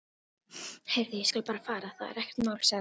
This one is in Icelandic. Heyrðu, ég skal bara fara, það er ekkert mál sagði